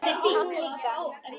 Hann líka.